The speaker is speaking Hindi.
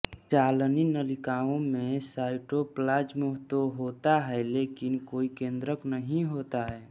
चालनी नलिकाओं में साइटोप्लाज्म तो होता है लेकिन कोई केंद्रक नहीं होता है